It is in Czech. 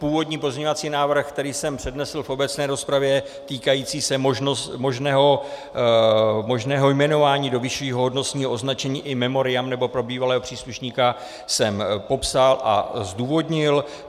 Původní pozměňovací návrh, který jsem přednesl v obecné rozpravě, týkající se možného jmenování do vyššího hodnostního označení in memoriam nebo pro bývalého příslušníka, jsem popsal a zdůvodnil.